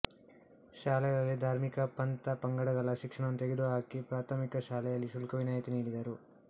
ಶಾಲೆಗಳಲ್ಲಿ ಧಾರ್ಮಿಕ ಪಂಥ ಪಂಗಡಗಳ ಶಿಕ್ಷಣವನ್ನು ತೆಗೆದುಹಾಕಿ ಪ್ರಾಥಮಿಕ ಶಾಲೆಯಲ್ಲಿ ಶುಲ್ಕ ವಿನಾಯಿತಿ ನೀಡಿದರು